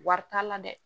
Wari t'a la dɛ